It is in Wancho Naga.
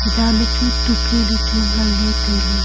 jan e chu tukley lechu nganley tailey.